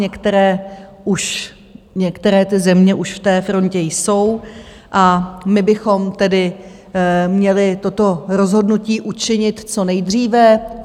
Některé už, některé ty země už v té frontě jsou, a my bychom tedy měli toto rozhodnutí učinit co nejdříve.